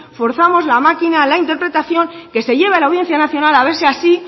forzamos la máquina a la interpretación que se lleve a la audiencia nacional a ver si así